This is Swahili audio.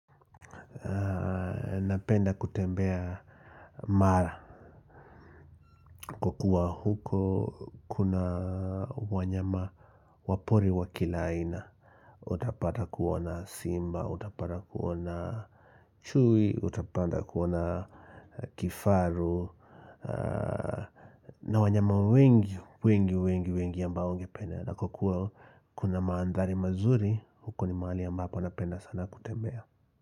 Napenda kutembea mara kwa kuwa huko kuna wanyama wa pori wa kila aina Utapata kuona simba, utapata kuona chui, utapata kuona kifaru na wanyama wengi, wengi, wengi, wengi ambao ungependa na kwa kuwa kuna maandhari mazuri, huko ni mahali ambapo napenda sana kutembea.